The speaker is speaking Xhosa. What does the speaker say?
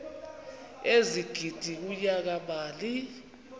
ezigidi kunyaka mali